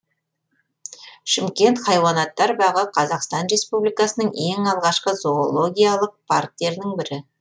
шымкент хайуанаттар бағы қазақстан республикасының ең алғашқы зоологиялық парктерінің бірі